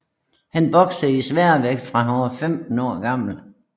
Han boksede i sværvægt fra han var 15 år gammel